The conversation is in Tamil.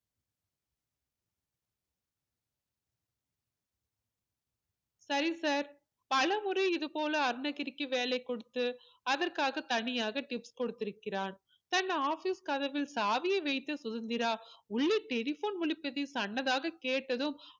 சரி sir பலமுறை இது போல அருணகிரிக்கு வேலை கொடுத்து அதற்காக தனியாக tips கொடுத்திருக்கிறான் தன் office கதவில் சாவியை வைத்த சுதந்திரா உள்ளே telephone ஒழிப்பது சன்னதாக கேட்டதும்